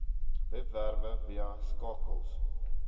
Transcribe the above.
webwerwe via skakels